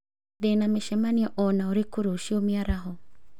Ndĩna mĩcemanio o na ũrĩkũ rũciũ mĩaraho